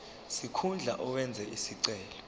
sikhundla owenze isicelo